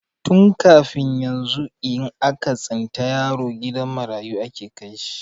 Tun kafin yanzu, in aka tsinta yaro gidan marayu ake kai shi.